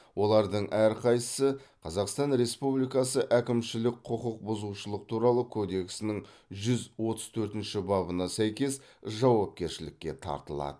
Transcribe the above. олардың әрқайсысы қазақстан республикасы әкімшілік құқық бұзушылық туралы кодексінің жүз отыз төртінші бабына сәйкес жауапкершілікке тартылады